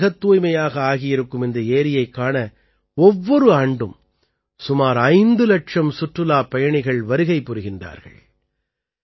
இப்போது மிகத் தூய்மையாக ஆகியிருக்கும் இந்த ஏரியைக் காண ஒவ்வொரு ஆண்டும் சுமார் ஐந்து இலட்சம் சுற்றுலாப் பயணிகள் வருகை புரிகின்றார்கள்